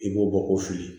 I b'o bɔ ko fili